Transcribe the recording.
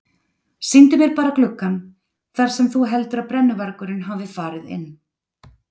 Sýndu mér bara gluggann þar sem þú heldur að brennuvargurinn hafi farið inn.